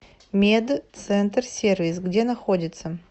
медцентрсервис где находится